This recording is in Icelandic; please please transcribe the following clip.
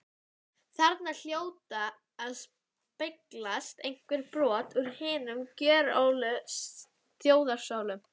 Þarna hljóta að speglast einhver brot úr hinum gjörólíku þjóðarsálum.